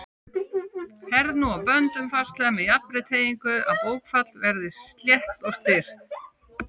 Herð nú á böndum fastlega með jafnri teygingu, að bókfell verði slétt og styrkt.